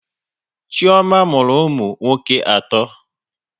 Chioma mụrụ ụmụ nwoke atọ